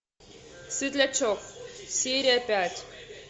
светлячок серия пять